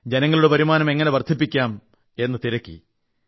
ജനങ്ങളുടെ വരുമാനം എങ്ങനെ വർധിപ്പിക്കാം എന്നു തിരക്കി